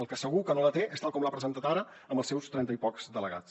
el que segur que no la té és tal com l’ha presentat ara amb els seus trenta i pocs delegats